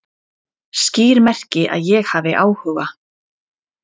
Skýr merki að ég hafi áhuga